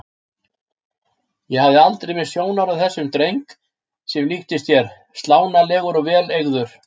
Ég hafði aldrei misst sjónar á þessum dreng sem líktist þér, slánalegur og vel eygður.